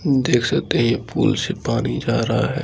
देख सकते है ये पूल से पानी जा रहा है।